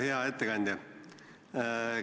Hea ettekandja!